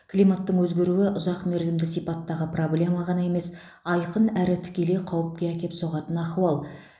климаттың өзгеруі ұзақмерзімді сипаттағы проблема ғана емес айқын әрі тікелей қауіпке әкеп соғатын ахуал